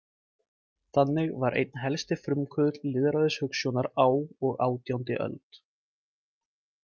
Þannig var einn helsti frumkvöðull lýðræðishugsjónar á og átjándi öld.